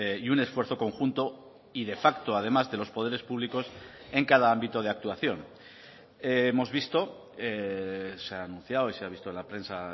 reflexión y un esfuerzo conjunto y de facto además de los poderes públicos en cada ámbito de hemos visto se ha anunciado y se ha visto en la prensa